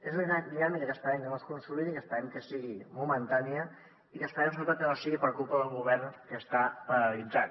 és una dinàmica que esperem que no es consolidi que esperem que sigui momentània i que esperem sobretot que no sigui per culpa d’un govern que està paralitzat